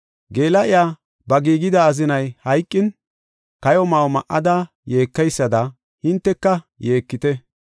Geela7iya, ba giigida azinay hayqin, kayo ma7o ma7ada yeekeysada hinteka yeekite!